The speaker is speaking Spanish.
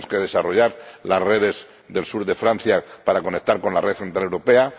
tenemos que desarrollar las redes del sur de Francia para conectar con la red centroeuropea